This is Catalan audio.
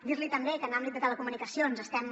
dir li també que en l’àmbit de telecomunicacions estem